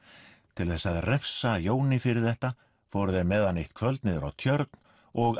til þess að refsa Jóni fyrir þetta fóru þeir með hann eitt kvöld niður á tjörn og